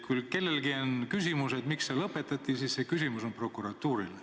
Kui kellelgi on küsimus, miks asi lõpetati, siis see küsimus on prokuratuurile.